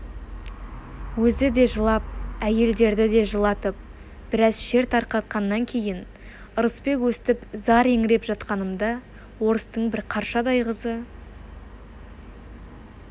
өзі де жылап әйелдерді де жылатып біраз шер тарқатқаннан кейін ырысбек өстіп зар еңіреп жатқанымда орыстың бір қаршадай қызы